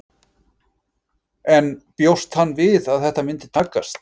En bjóst hann við að þetta myndi takast?